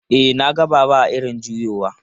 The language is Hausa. E, na ga Baba a irin juyowa.